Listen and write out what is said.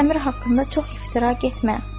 Sən Əmir haqqında çox iftira getmə.